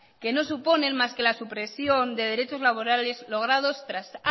que no suponen más que la supresión de derechos laborales logrados tras